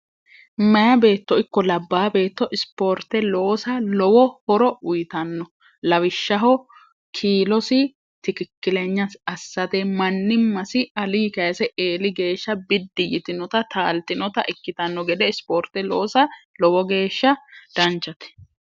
maya beetto ikko labba beetto ispoorte loosa lowo horo uyitanno lawishshaho kiilosi tikikkilenyai assate manni masi ali kaise eeli geeshsha biddi yitinota taaltinota ikkitanno gede ispoorte loosa lowo geeshsha danchate